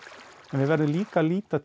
en við verðum líka að líta